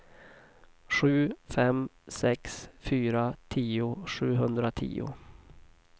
sju fem sex fyra tio sjuhundratio